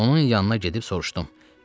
Onun yanına gedib soruşdum.